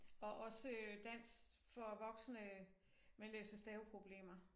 Og også øh dansk for voksne med læse staveproblemer